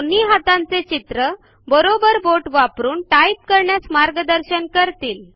दोन्ही हातांचे चित्र बरोबर बोट वापरून टाइप करण्यास मार्गदर्शन करतील